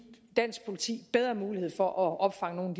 dansk politi bedre mulighed for at opfange